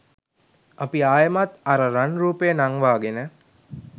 අපි ආයෙමත් අර රන් රූපය නංවාගෙන